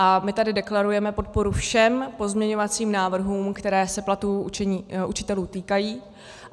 A my tady deklarujeme podporu všem pozměňovacím návrhům, které se platů učitelů týkají.